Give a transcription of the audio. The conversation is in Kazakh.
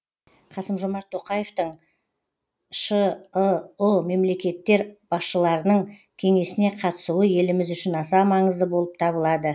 қасым жомарт тоқаевтың шыұ мемлекеттер басшыларының кеңесіне қатысуы еліміз үшін аса маңызды болып табылады